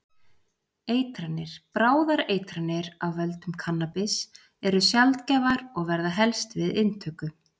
Eitranir: Bráðar eitranir af völdum kannabis eru sjaldgæfar og verða helst við inntöku.